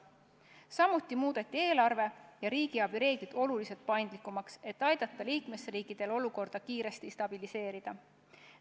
Samuti muudeti eelarve- ja riigiabireegleid oluliselt paindlikumaks, et aidata liikmesriikidel olukorda kiiresti stabiliseerida.